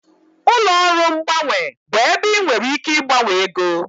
Ụlọ ọrụ mgbanwe bụ ebe ị nwere ike ịgbanwe ego